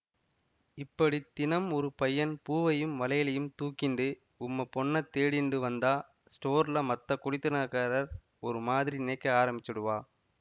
இப்படி தினம் ஒரு பையன் பூவையும் வளையலையும் தூக்கிண்டு உம்ம பொண்ணத் தேடிண்டு வந்தா ஸ்டோர்லே மத்தக் குடித்தனக்காரர் ஒரு மாதிரி நினைக்க ஆரம்பிச்சுடுவா